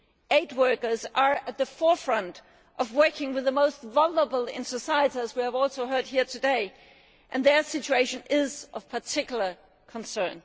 Aid workers are at the forefront of working with the most vulnerable in society, as we have heard today, and their situation is of particular concern.